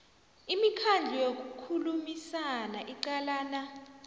imikhandlu yokukhulumisana iqalana